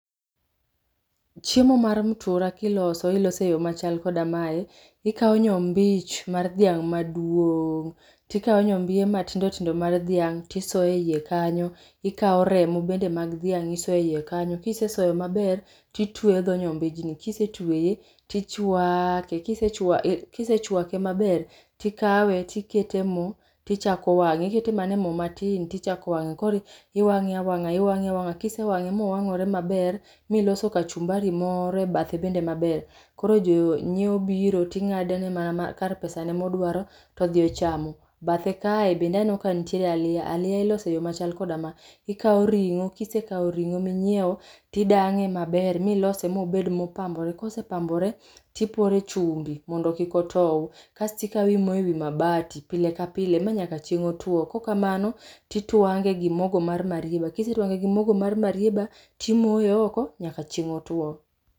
Chiemo mar mtura kiloso ilose e yoo machal koda mae. Ikao nyombich mar dhiang maduong, tikao nyombie matindo tindo mar dhiang tisoyo e iye kanyo, ikao remo bende mag dhiang tisoe iye kanyo, kisesoyo maber titweyo dho nyombijni ,kisetweye tichwake, kisechwake maber, tikawe tikete e moo tichako wange, ikete mana e moo matin tichako wange. Koro iwange awanga, iwange awanga ,kisewange mowangore maber miloso kachumbari moro e bathe bende maber, koro jonyiewo biro tingadone mana ma kar pesani modwaro todhi ochamo. Bathe kae bende aneno ka nitiere aliya, aliya iloso e yoo machal koda ma. Ikao ringo, kisekao ringo minyiew, tidange maber milose mobed mopambore, kosepambore tipore chumbi mondo kik otow, kasto ikaw imoyo e wii mabati pile ka pile manyaka chieng otuo, kok kamano titwange gi mogo mar marieba, kisetwange gi mogo mar marieba timoye oko nyaka chieng otuo